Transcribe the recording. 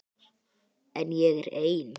En ég er ein.